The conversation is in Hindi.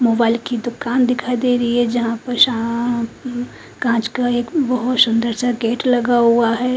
मोबाइल की दुकान दिखाई दे रही है जहां पर छां कांच का एक बहुत सुंदर सा गेट लगा हुआ है।